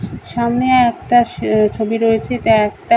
সামনে একটা স ছবি রয়েছে এটা একটা--